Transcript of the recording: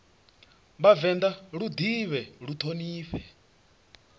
vhavenḓa lu ḓivhee lu ṱhonifhee